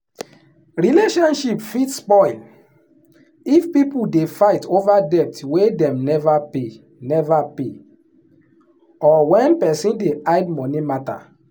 relationship fit spoil if people dey fight over debt wey dem never pay never pay or when person dey hide money matter.